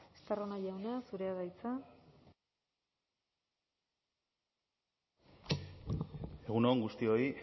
estarrona jauna zurea da hitza egun on guztioi